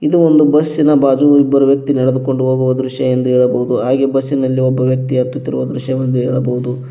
ಇದು ಒಂದು ಬಸ್ಸಿನ ಬಾಜು ಇಬ್ಬರು ವ್ಯಕ್ತಿ ನೆಡೆದುಕೊಂಡು ಹೋಗುವ ದೃಶ್ಯವೆಂದು ಹೇಳಬಹುದು ಹಾಗೆ ಬಸ್ಸಿನಲ್ಲಿ ಒಬ್ಬ ವ್ಯಕ್ತಿಯ ಹತ್ತುತ್ತಿರುವ ದೃಶ್ಯವೆಂದು ಹೇಳಬಹುದು.